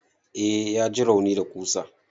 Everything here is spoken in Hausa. Eh ya ji rauni da ƙusa.